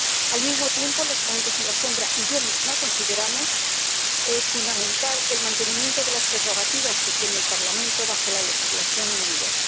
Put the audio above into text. Al mismo tiempo, los ponentes alternativos y yo misma consideramos fundamental el mantenimiento de las prerrogativas que tiene el Parlamento bajo la legislación en vigor.